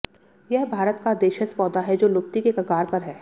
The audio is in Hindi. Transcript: यह भारत का देशज पौधा है जो लुप्ति के कगार पर है